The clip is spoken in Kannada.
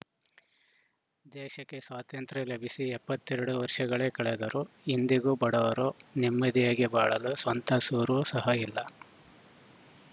ದೇಶಕ್ಕೆ ಸ್ವಾತಂತ್ರ್ಯ ಲಭಿಸಿ ಎಪ್ಪತ್ತ್ ಎರಡು ವರ್ಷಗಳೇ ಕಳೆದರೂ ಇಂದಿಗೂ ಬಡವರು ನೆಮ್ಮದಿಯಾಗಿ ಬಾಳಲು ಸ್ವಂತ ಸೂರು ಸಹ ಇಲ್ಲ